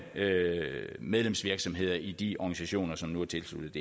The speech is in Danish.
medlemsvirksomheder i de organisationer som nu er tilsluttet